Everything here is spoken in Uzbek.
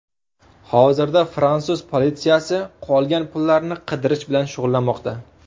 Hozirda fransuz politsiyasi qolgan pullarni qidirish bilan shug‘ullanmoqda.